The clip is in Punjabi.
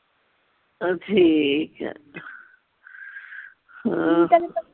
ਅਹ ਠੀਕ ਆ ਹੋਰ